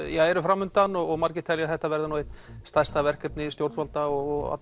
eru fram undan og margir telja að þetta verði eitt stærsta verkefni stjórnvalda og